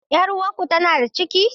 Yar uwarku tana da ciki?